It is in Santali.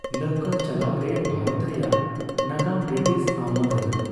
ᱞᱟᱹᱣᱠᱟᱹ ᱪᱟᱞᱟᱣᱨᱮ ᱵᱷᱟᱨᱚᱛ ᱨᱮᱭᱟᱜ ᱱᱟᱜᱟᱢ ᱵᱨᱤᱴᱤᱥ ᱟᱢᱚᱞ ᱨᱮᱱᱟᱜ ᱾